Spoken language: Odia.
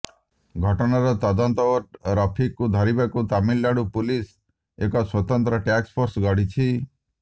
ଘଟଣାର ତଦନ୍ତ ଓ ରଫିକକୁ ଧରିବାକୁ ତାମିଲନାଡୁ ପୁଲିସ ଏକ ସ୍ୱତନ୍ତ୍ର ଟାକ୍ସଫୋର୍ସ ଗଢିଛି